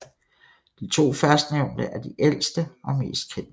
De to førstnævnte er de ældste og mest kendte